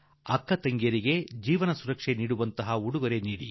ಸೋದರಿಗೆ ಇಂತಹ ಉಡುಗೊರೆ ನೀಡಿದರೆ ಆಕೆಗೆ ಜೀವನದಲ್ಲಿ ನಿಜವಾಗಿಯೂ ಭದ್ರತೆ ನೀಡಿದಂತೆ